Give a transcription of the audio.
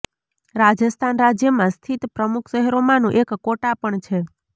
રાજસ્થાન રાજ્યમાં સ્થિત પ્રમુખ શહેરોમાંનું એક કોટા પણ છે